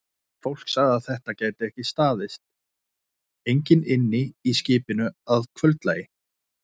Fólkið sagði að þetta gæti ekki staðist, enginn ynni í skipinu að kvöldlagi.